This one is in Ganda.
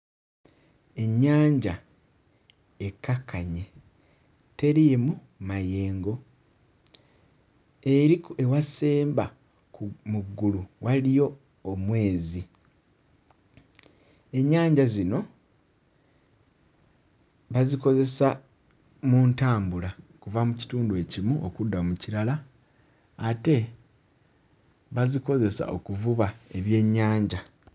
Ennyanja ekkakkanye, teriimu mayengo, eri ku ewasemba ku... mu ggulu waliyo omwezi. Ennyanja zino bazikozesa mu ntambula kuva mu kitundu ekimu okudda mu kirala ate bazikozesa okuvuba ebyennyanja.